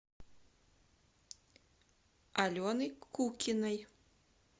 алены кукиной